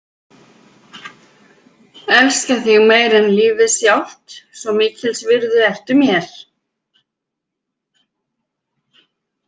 Elska þig meira en lífið sjálft, svo mikils virði ertu mér.